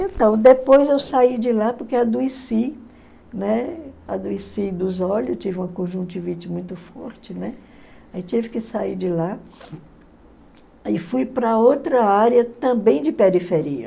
Então, depois eu saí de lá porque adoeci, né, adoeci dos olhos, tive uma conjuntivite muito forte, né, aí tive que sair de lá e fui para outra área também de periferia.